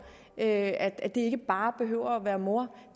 at at det ikke bare behøver være mor